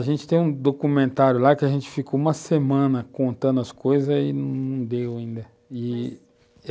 A gente tem um documentário lá que a gente ficou uma semana contando as coisas e não deu ainda.